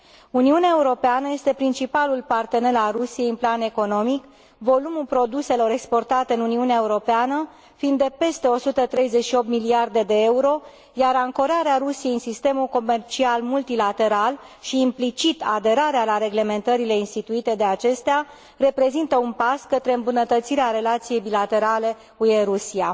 Uniunea Europeană este principalul partener al Rusiei în plan economic, volumul produselor exportate în Uniunea Europeană fiind de peste 138 de miliarde de euro, iar ancorarea Rusiei în sistemul comercial multilateral și, implicit, aderarea la reglementările instituite de acesta reprezintă un pas către îmbunătățirea relației bilaterale UE Rusia.